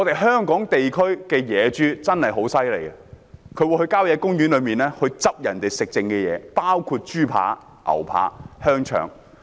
香港地區的野豬很厲害，牠們會在郊野公園吃人們遺下來的食物，包括豬扒、牛扒、香腸。